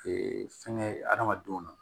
fɛnkɛ adamadenw na